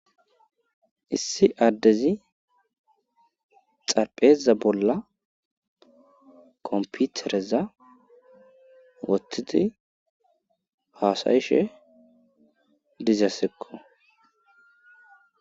issi addezi xarpheza bolla komputereza wothidi haasayishe dizasekko